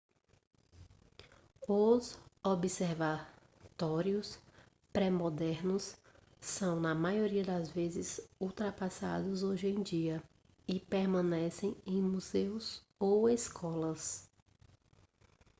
os observatórios pré-modernos são na maioria das vezes ultrapassados hoje em dia e permanecem em museus ou escolas